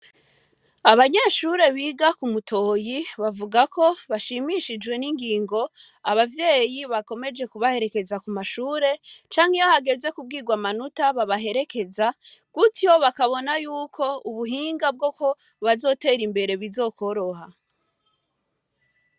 Abanyeshure biga ku mutoyi bavuga ko bashimishijwe n'ingingo abavyeyi bakomeje kubaherekeza ku mashure, canke hageze kubwirwa amanota babaherekeza, gutyo bakabona yuko ubuhinga bwo ko bazotera imbere buzokoroha.